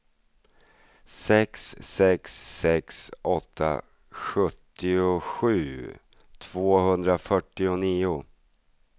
sex sex sex åtta sjuttiosju tvåhundrafyrtionio